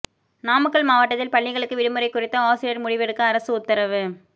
நாமக்கல் மாவட்டத்தில் பள்ளிகளுக்கு விடுமுறை குறித்து ஆசிரியர் முடிவெடுக்க அரசு உத்தரவு